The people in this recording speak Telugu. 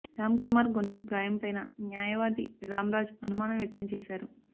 రామ్ కుమార్ గొంతు గాయంపైనా న్యాయవాది రామరాజ్ అనుమానం వ్యక్తం చేశారు